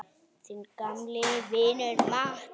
Þinn gamli vinur Matti.